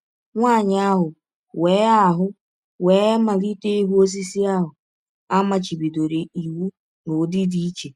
Nwanyị ahụ wee ahụ wee malite ịhụ osisi ahụ a machibidoro iwụ n’ụdị dị iche.